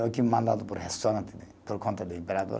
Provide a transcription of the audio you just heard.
O que mandado por restaurante né, por conta do imperador.